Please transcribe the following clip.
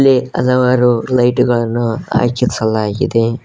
ಗೆ ಹಲವಾರು ಲೈಟು ಗಳನ್ನು ಹಾಕಿಸಲಾಗಿದೆ.